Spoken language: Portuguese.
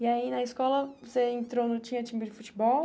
E aí na escola você entrou, não tinha time de futebol?